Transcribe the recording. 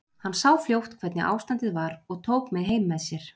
Hann sá fljótt hvernig ástandið var og tók mig heim með sér.